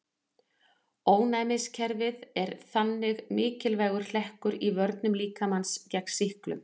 Ónæmiskerfið er þannig mikilvægur hlekkur í vörnum líkamans gegn sýklum.